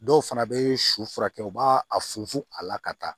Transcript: Dɔw fana bɛ su furakɛ u b'a a funu funu a la ka taa